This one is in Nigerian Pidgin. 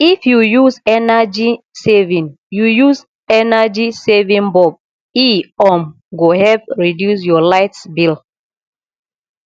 if you use energy saving you use energy saving bulb e um go help reduce your light bill